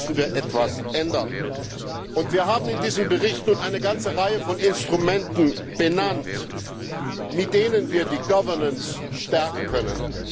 da müssen wir etwas ändern. Wir haben in diesem Bericht nun eine ganze Reihe von Instrumenten benannt, mit denen wir die Governance stärken können.